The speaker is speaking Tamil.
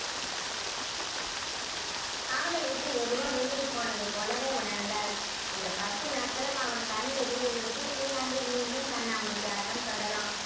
அவளை விட்டு எதுவோ விலகி போனது போலவே உணர்ந்தாள் இந்த பத்து நாட்களும் அவன் கண் எதிரே இருக்க இனி அங்கே மீண்டும் கண்ணாமூச்சி ஆட்டம் தொடரும்